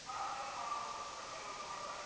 ಹಾ refer ಮಾಡ್ಬೋದು, referral ತಗೊಳ್ತಾರೆ.